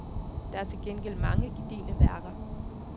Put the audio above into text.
Der er til gengæld mange gedigne værker.